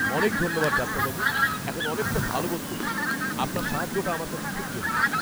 অনেক ধন্যবাদ ডাক্তারবাবু। এখন অনেকটা ভালো বোধ করছি। আপনার সাহায্যটা আমার কাছে খুব জরুরি।